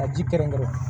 Ka ji kɛrɛnkɛrɛn